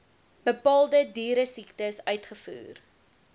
bepaalde dieresiektes uitvoer